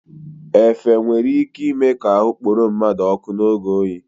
Efe nwere ị́ké ịme ka ahụ kporo mmadụ ọ́kụ́ n'oge oyi.